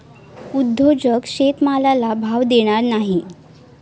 उद्योजक शेतमालाला भाव देणार नाही.